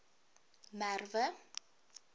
merwe